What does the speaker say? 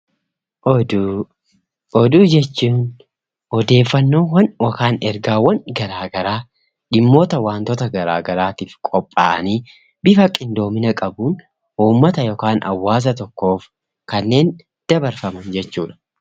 Oduu, oduu jechuun odeeffannoowwan yookaan ergaawwan garagaraa dhimmoota wantoota garagaraatiif qophaa'anii bifa qindoomina qabuun uummata yookaan hawaasaf tokko kanneen dabarfaman jechuudha.